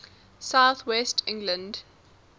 south west england